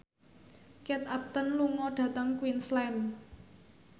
Kate Upton lunga dhateng Queensland